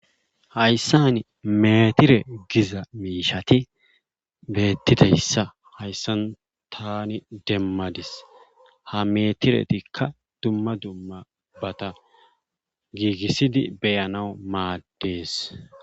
Hayssan meetire gia miishati beetizayssa taani demadis. ha meetiretikka dumma dummabata gigisidi be'anawu maadees.